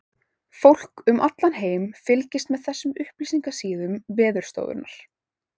Fólk um allan heim fylgist með þessum upplýsingasíðum Veðurstofunnar.